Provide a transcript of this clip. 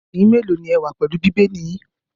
Ẹ̀yin mélòó ni ẹ wà pẹ̀lú Bíbélì yín?